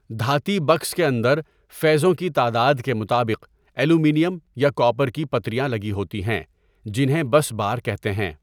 دهاتی box کے اندر فیزوں کی تعداد کے مطابق ایلومینیم یا کاپر کی پتریاں لگی هوتی هیں، جنهیں بس بار کہتے هیں.